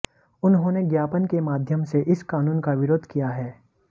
उन्होंने ज्ञापन के माध्यम से इस कानून का विरोध किया है